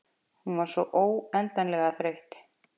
Hún var svo óendanlega þreytt.